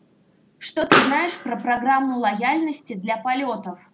что ты знаешь про программу лояльности для полётов